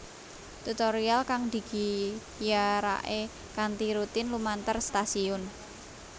Tutorial kang digiyarake kanthi rutin lumantar stasiun